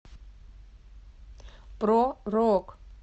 про рок